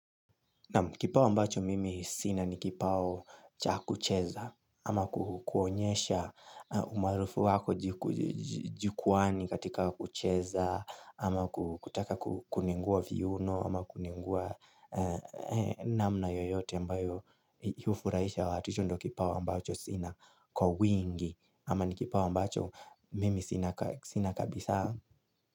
Na kipao ambacho mimi sina ni kipao cha kucheza ama kuonyesha umaarufu wako jikuani katika kucheza ama kutaka kuningua viuno ama kuningua namna yoyote ambayo yufuraisha watu hicho ndo kipao ambacho sina kwa wingi ama ni kipao ambacho mimi sina kabisa.